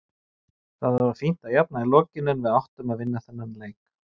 Það var fínt að jafna í lokin en við áttum að vinna þennan leik.